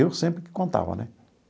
Eu sempre que contava, né?